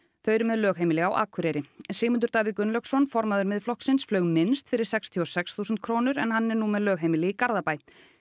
þau eru með lögheimili á Akureyri Sigmundur Davíð Gunnlaugsson formaður Miðflokksins flaug minnst fyrir sextíu og sex þúsund krónur en hann er nú með lögheimili í Garðabæ